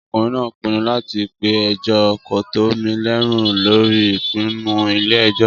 Ọkùnrin náà pinnu láti pe ẹjọ́ kòtẹ́milọ́rùn lórí ìpinnu ilé ẹjọ́.